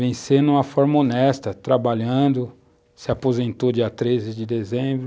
Vencer de uma forma honesta, trabalhando, se aposentou dia 13 de dezembro.